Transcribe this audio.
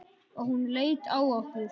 Og hún leit á okkur.